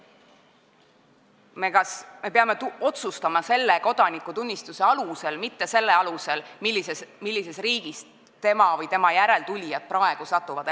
Me peame kodakondsuse üle otsustama kodanikutunnistuse alusel, mitte selle alusel, millisesse riiki inimesed või nende järeltulijad elama satuvad.